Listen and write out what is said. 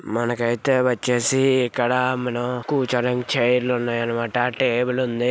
మనకైతే వచ్చేసి ఇక్కడ మనం కూర్చోవడానికి చైర్ లు ఉన్నాయన్నమాట టేబుల్ ఉంది.